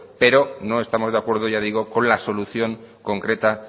pero no estamos de acuerdo ya digo con la solución concreta